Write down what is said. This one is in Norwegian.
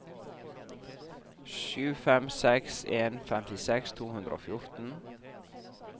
sju fem seks en femtiseks to hundre og fjorten